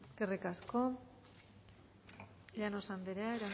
eskerrik asko llanos anderea